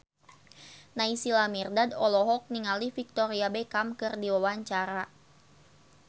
Naysila Mirdad olohok ningali Victoria Beckham keur diwawancara